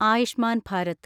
Ayushman Bharat